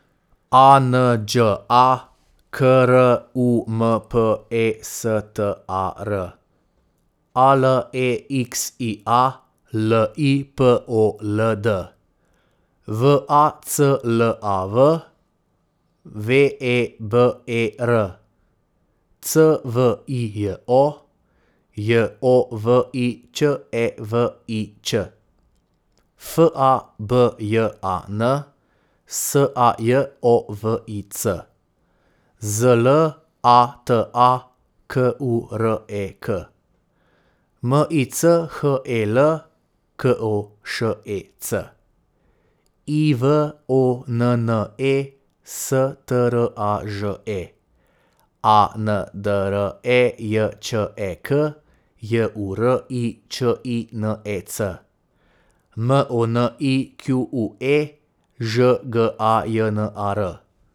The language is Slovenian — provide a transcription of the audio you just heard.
A N Đ A, K R U M P E S T A R; A L E X I A, L I P O L D; V A C L A V, W E B E R; C V I J O, J O V I Ć E V I Ć; F A B J A N, S A J O V I C; Z L A T A, K U R E K; M I C H E L, K O Š E C; Y V O N N E, S T R A Ž E; A N D R E J Č E K, J U R I Č I N E C; M O N I Q U E, Ž G A J N A R.